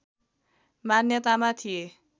मान्यतामा थिए